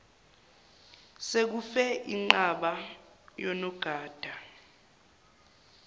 sekufe inqwaba yonogada